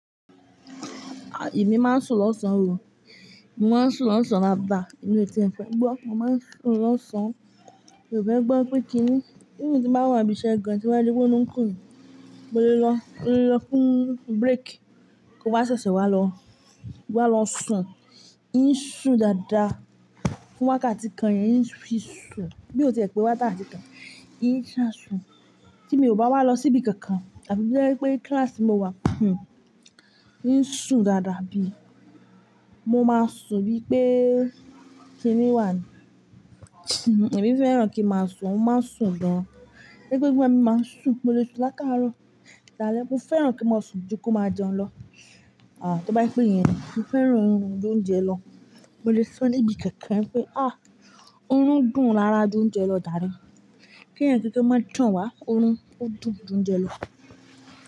À, èmi máa ń sùn lọ́sàn-án o, mo máa ń sùn lọ́sàn-án dadà, èmi ò tì ẹ fẹ́ gbọ́, mo máa ń sùn lọ́sàn-án, mi ò fẹ́ gbọ́ pé kí ni, even tí bá wà ń bí iṣẹ́ gan tí wọn bá rí pé orun ń kùn mi mo lè lọ, mo lè lọ fún break, kí n wá ṣẹ̀ṣẹ̀ wá lọ, wá lọ sùn. Ì ń sùn dáadáa, fún wákàtí kan yẹn ń fi sùn. Bí ó tiẹ̀ pé wákàtí kan, in ṣá sùn. Tí mi ò bá wá lọ síbi kankan àbí tójẹ́ wípé kíláàsì mo wà, hmmm ì ń sùn dáadáa bí i. Mo máa sùn bí i pé kíni wà ní, èmi fẹ́ràn kí a máa sùn, mo máa ń sùn gan-an. Torípé nígbà mi máa ń sùn, mo lè sùn látàárọ̀ dálẹ́. Mo fẹ́ràn kí a máa sùn ju kó máa jẹun lọ. À, tó bá pé ìyẹn ni, mo fẹ́ràn orun ju ónjẹ lọ. Mo lè soníbi kankan pé a, oorun dùn lára ju oúnjẹ lọ jàre. Kí ẹ̀yan kankan ma tan wa, orun ó dùn ju oúnjẹ lọ.